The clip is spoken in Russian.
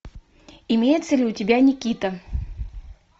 имеется ли у тебя никита